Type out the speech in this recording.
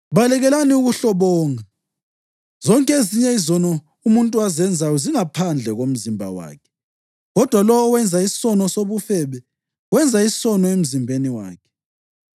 Balekelani ukuhlobonga. Zonke ezinye izono umuntu azenzayo zingaphandle komzimba wakhe, kodwa lowo owenza isono sobufebe wenza isono emzimbeni wakhe.